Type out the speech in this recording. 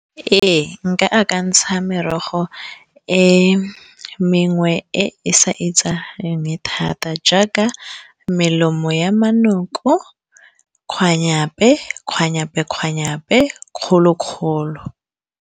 Ee nka akantsha merogo e mengwe e e sa itsagaleng thata jaaka melemo ya manoko, kgwanyape-kgwanyape-kgwanyape gape kgolo-kgolo.